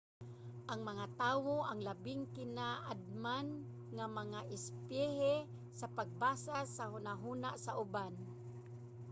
ang mga tawo ang labing kinaadman nga mga espisye sa pagbasa sa hunahuna sa uban